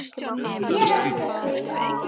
Ég elska kauða.